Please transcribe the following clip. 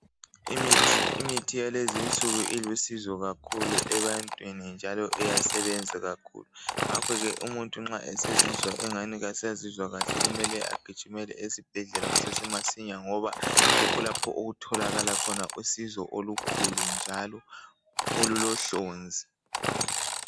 Imithi yakulezi insuku ilusizo kakhulu ebantwini njalo iyasebenza kakhulu ngakho umuntu nxa esezizwa engezwa kahle kumele agijimele esibhedlela kusasemasinya yikho lapho okutholakala khona usizo olukhulu njalo olulohlonzi.